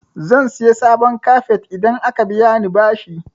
Zan siya sabon kafet idan aka biya ni bashi.